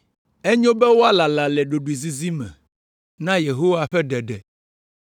Enyo be woalala le ɖoɖoezizi me na Yehowa ƒe ɖeɖe.